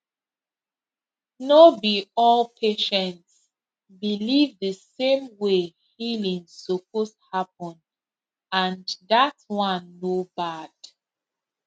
no be all patients believe the same way healing suppose happen and that one no bad